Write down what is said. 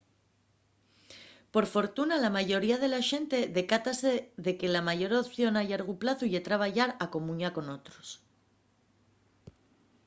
por fortuna la mayoría de la xente decátase de que la meyor opción a llargu plazu ye trabayar a comuña con otros